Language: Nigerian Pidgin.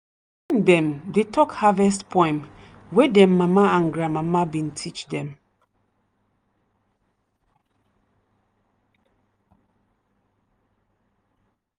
dem dey talk harvest poem wey dem mama and grandmama bin teach dem.